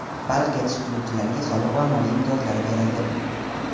Baliq yetishtiruvchilarga soliq va moliya imtiyozlari berildi.